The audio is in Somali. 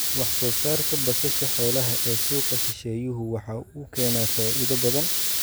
Wax-soo-saarka basasha xoolaha ee suuqa shisheeyuhu waxa uu keenaa faa�iido badan.